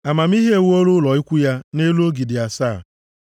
Amamihe ewuola ụlọ ukwu ya nʼelu ogidi asaa.